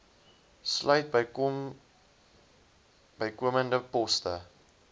sluit bykomende poste